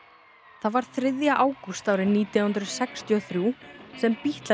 það var þriðja ágúst árið nítján hundruð sextíu og þrjú sem Bítlarnir